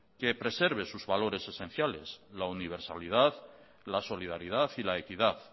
que preserve sus valores esenciales la universalidad la solidaridad y la equidad